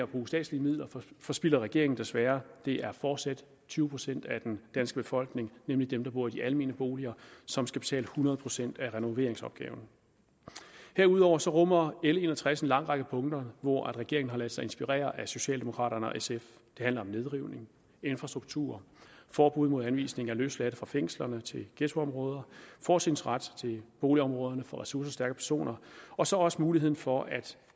bruge statslige midler forspilder regeringen desværre det er fortsat tyve procent af den danske befolkning nemlig dem der bor i de almene boliger som skal betale hundrede procent af renoveringsopgaverne herudover rummer l en og tres en lang række punkter hvor regeringen har ladet sig inspirere af socialdemokraterne og sf det handler om nedrivning infrastruktur forbud mod anvisning af løsladte fra fængslerne til ghettoområder fortrinsret til boligområderne for ressourcestærke personer og så også muligheden for at